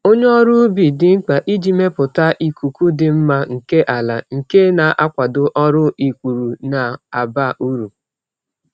Onye ọrụ ubi dị mkpa iji mepụta ikuku dị mma nke ala, nke na-akwado ọrụ ikpuru na-aba uru.